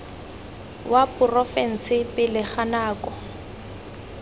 wa porofense pele ga nako